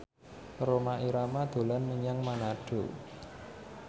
Rhoma Irama dolan menyang Manado